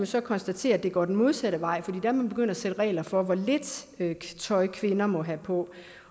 så konstatere at det går den modsatte vej for er man begyndt at sætte regler for hvor lidt tøj kvinder må have på